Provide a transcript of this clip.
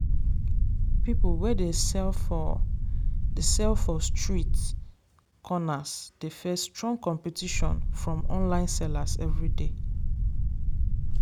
people wey dey sell for dey sell for street corners dey face strong competition from online sellers every day.